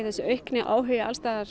þessi aukni áhugi